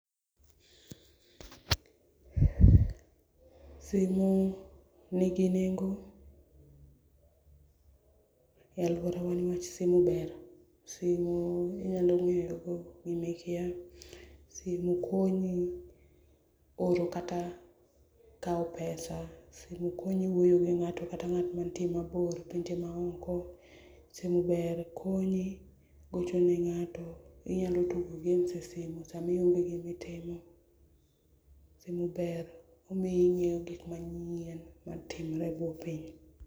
Simu nigi nengo e aluorawa niwach simu ber, simu iinyalo ngeyogo gima ikia, simu konyi oro kata kao pesa, simu konyi oro kata kaw pesa, simu konyi wuoyo gi ngato kata ngat mantie mabor mantie maoko, simu ber konyi gochone ngato inyalo tugo games e simu sama ionge gima itimo, simu ber omiyo ingeyo gik manyien matimore e buo piny